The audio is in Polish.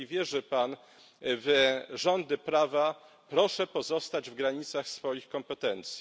Jeżeli wierzy Pan w rządy prawa, proszę pozostać w granicach swoich kompetencji.